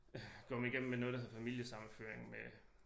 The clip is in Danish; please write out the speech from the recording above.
Kommet igennem med noget der hedder familiesammenføring med